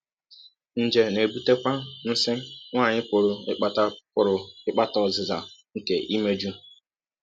Nje na - ebụtekwa nsí nwanyị pụrụ ịkpata pụrụ ịkpata ọzịza nke imejụ.